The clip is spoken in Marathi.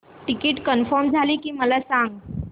टिकीट कन्फर्म झाले की मला सांग